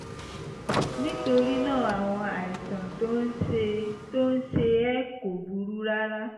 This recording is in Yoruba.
nítorí náà àwọn àìsàn tó ń ṣe tó ń ṣe ẹ́ kò burú rárá